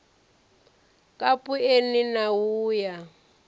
kapu eni na u ya